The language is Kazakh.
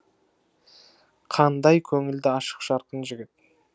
қандай көңілді ашық жарқын жігіт